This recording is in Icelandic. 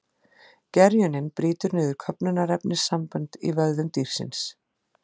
Gerjunin brýtur niður köfnunarefnissambönd í vöðvum dýrsins.